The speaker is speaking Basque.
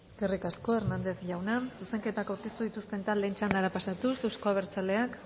eskerrik asko hernandez jauna zuzenketak aurkeztu dituzten taldeen txandara pasatuz euzko abertzaleak